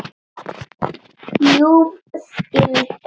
ljúf skylda.